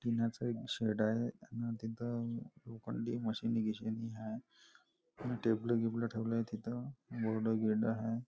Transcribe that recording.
टिनाच एक शेड आहे अन तिथ लोखंडी मशिनी गिशिनी आहे टेबल गिबलं वगेरे ठेवलेले आहे तिथे बोर्ड गिर्ड आहेत.